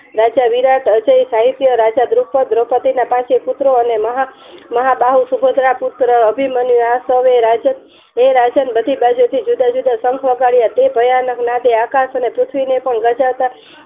રાજા વિરાટ અજય સાહિત્ય રાજા દ્રુપત દ્રૌપદીના પાંચે પુત્ર અને મહા બહુ સુભદ્રા પુત્ર અભિમન્યુ આ સોવે હે રાજન બધી બાજુથી જુદા જુદા શંખ વગાડ્યા તે ભયાનક નાદ છે આકાશ ને અને પૃથ્વીને પંણ ગજા